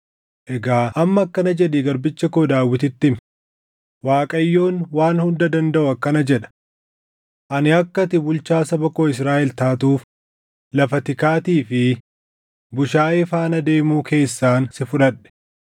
“Egaa amma akkana jedhii garbicha koo Daawititti himi; ‘ Waaqayyoon Waan Hunda Dandaʼu akkana jedha: Ani akka ati bulchaa saba koo Israaʼel taatuuf, lafa tikaatii fi bushaayee faana deemuu keessaan si fudhadhe.